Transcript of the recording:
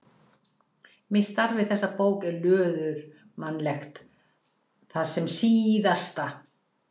Mitt starf við þessa bók er löðurmannlegt þar sem SÍÐASTA